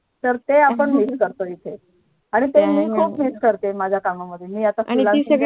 तर ते आपण Miss येथे आणि माझ्या काम मध्ये